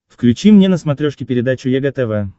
включи мне на смотрешке передачу егэ тв